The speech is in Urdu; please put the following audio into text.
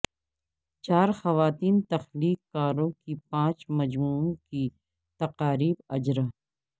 چار خواتین تخلیق کاروں کے پانچ مجموعوں کی تقاریب اجرا